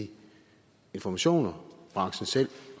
de informationer branchen selv